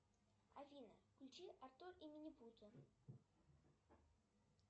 афина включи артур и минипуты